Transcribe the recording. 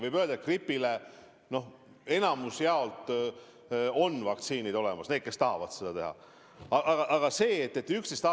Võib öelda, et gripi vastu suuremas osas on vaktsiinid olemas – need on neile, kes tahavad kaitsesüsti teha.